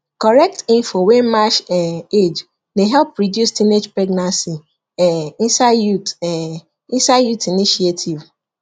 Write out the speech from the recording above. correct info wey match um age dey help reduce teenage pregnancy um inside youth um inside youth initiative